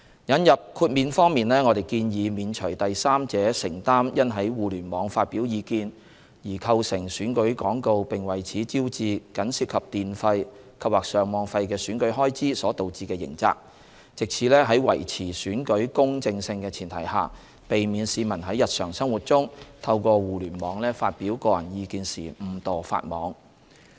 引入豁免方面，我們建議免除第三者承擔因在互聯網發表意見而構成選舉廣告並為此招致僅涉及電費及/或上網費的選舉開支所導致的刑責，藉此在維持選舉公正性的前提下，避免市民在日常生活中透過互聯網發表個人意見時誤墮法網。